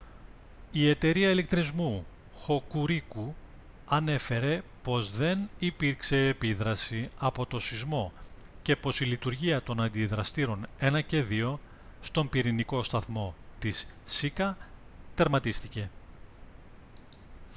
η εταιρεία ηλεκτρισμού hokuriku ανέφερε πως δεν υπήρξε επίδραση από το σεισμό και πως η λειτουργία των αντιδραστήρων 1 και 2 στον πυρηνικό σταθμό της σίκα τερματίστηκε